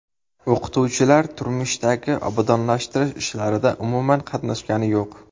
O‘qituvchilar tumandagi obodonlashtirish ishlarida umuman qatnashgani yo‘q.